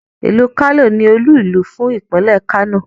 Ìlú Kano ni olú-ìlú fún Ìpínlẹ̀ Kano.